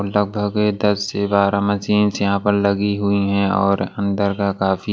लगभग दस से बारा मशीन यहां पर लगी हुई है और अंदर का काफी--